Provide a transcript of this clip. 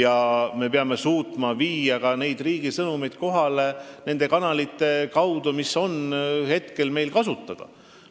Aga me peame suutma viia ka riigi sõnumeid kohale nende kanalite kaudu, mis meil praegu kasutada on.